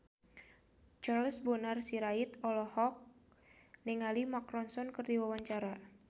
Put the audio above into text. Charles Bonar Sirait olohok ningali Mark Ronson keur diwawancara